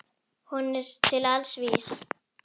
Hún er til alls vís.